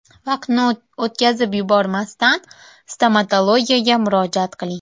Vaqtni o‘tkazib yubormasdan stomatologga murojaat qiling.